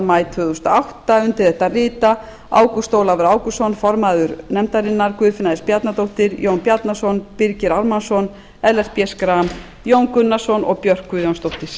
maí tvö þúsund og átta undir þetta rita ágúst ólafur ágústsson form guðfinna s bjarnadóttir jón bjarnason birgir ármannsson ellert b schram jón gunnarsson og björk guðjónsdóttir